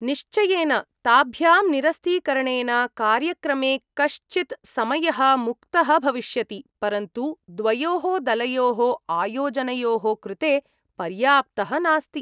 निश्चयेन, ताभ्यां निरस्तीकरणेन कार्यक्रमे कश्चित् समयः मुक्तः भविष्यति, परन्तु द्वयोः दलयोः आयोजनयोः कृते पर्याप्तः नास्ति।